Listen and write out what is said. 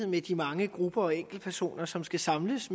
med de mange grupper og enkeltpersoner som skal samles